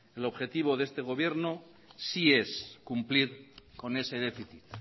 el objetivo de este gobierno sí es cumplir con ese déficit